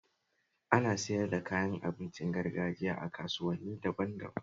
Ana siyar da kayan abincin gargajiya a kasuwanni daban-daban